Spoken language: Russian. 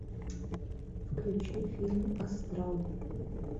включи фильм астрал